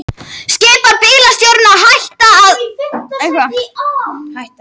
Skipar bílstjórum að hætta í verkfalli